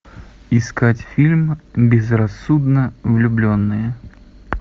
искать фильм безрассудно влюбленные